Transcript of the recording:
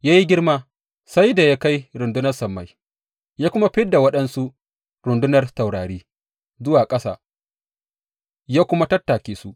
Ya yi girma sai da ya kai rundunar sammai, ya kuma fid da waɗansu rundunar taurari zuwa ƙasa ya kuma tattake su.